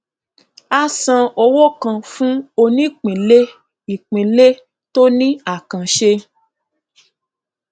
a san owó kan fún onípínlẹìpínlẹ tó ní àkànṣe